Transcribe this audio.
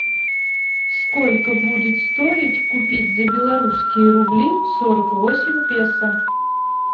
сколько будет стоить купить за белорусские рубли сорок восемь песо